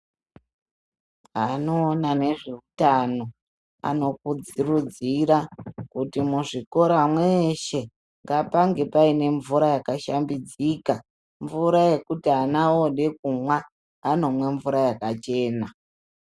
Anoona nezvehutano anokudziridzira kuti muzvikora mweshe ngaoange Paine mvura yakashambidzika mvura yekuti ana oda kumwa anomwa mvura yakachena.